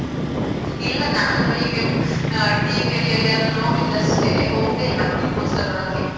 ಇಲ್ಲ ನಾನು ಹೀಗೆ TV ಯಲ್ಲಿ ಎಲ್ಲಿಯಾದ್ರು ನೋಡಿದ್ ಅಷ್ಟೇ, ಹೋಗ್ಲಿಲ್ಲ ದೀಪೋತ್ಸವಕ್ಕೆ.